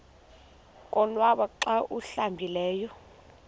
konwaba xa awuhlambileyo